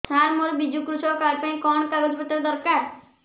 ସାର ମୋର ବିଜୁ କୃଷକ କାର୍ଡ ପାଇଁ କଣ କାଗଜ ପତ୍ର ଦରକାର